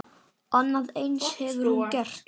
Annað eins hefur hún gert.